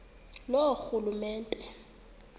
loorhulumente